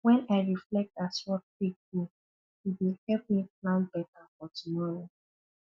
wen i reflect as work take go e dey help me plan beta for tomorrow